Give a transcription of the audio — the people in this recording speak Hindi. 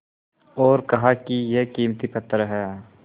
और कहा कि यह कीमती पत्थर है